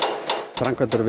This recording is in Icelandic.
framkvæmdir við